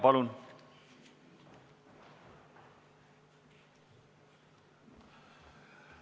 Palun!